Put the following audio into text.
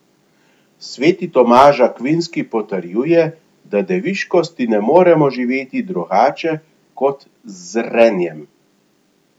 Sveti Tomaž Akvinski potrjuje, da deviškosti ne moremo živeti drugače kot z zrenjem.